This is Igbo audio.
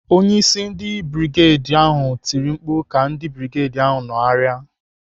Onyeisi ndị brigedi ahụ tiri mkpu ka ndị brigedi nọgharịa.